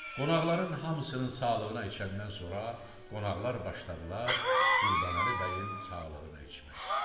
Qonaqların hamısının sağlığına içəndən sonra qonaqlar başladılar Qurbanəli bəyin sağlığına içməyə.